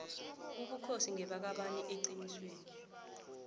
ubukhosi ngebakabani eqinisweni